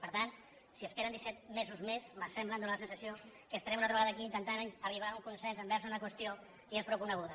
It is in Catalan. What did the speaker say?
per tant si esperen disset mesos més me sembla em dóna la sensació que estarem una altra vegada aquí intentant arribar a un consens envers una qüestió que ja és prou coneguda